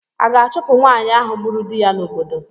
A ga-achụpụ nwaanyị ahụ gburu di ya n'obodo?